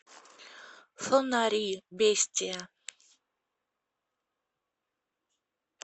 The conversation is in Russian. фонари бестия